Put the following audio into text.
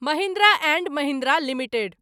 Mahindra and Mahindra limited